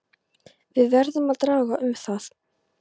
Við verðum að draga um það.